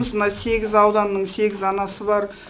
мына сегіз ауданның сегіз анасы бар